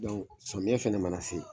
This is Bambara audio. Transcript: samiyɛn fɛnɛ mana se.